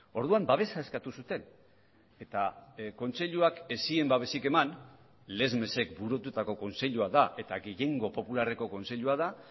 orduan babesa eskatu zuten eta kontseiluak ez zien babesik eman lesmesek burututako kontseilua da eta gehiengo popularreko kontseilua da